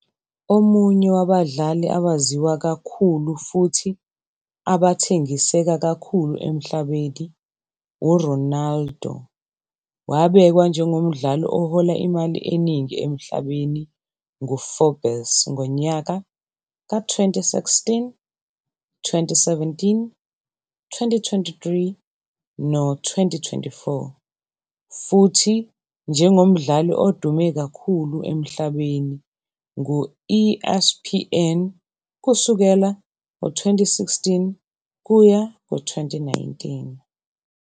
Omunye wabadlali abaziwa kakhulu futhi abathengiseka kakhulu emhlabeni, uRonaldo wabekwa njengomdlali ohola imali eningi emhlabeni ngu-Forbes ngonyaka ka-2016, 2017, 2023, no-2024 futhi njengo mdlali odume kakhulu emhlabeni nguESPN kusukela ngo-2016 kuya ku-2019.